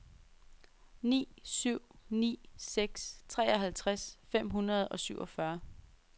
ni syv ni seks treoghalvtreds fem hundrede og syvogfyrre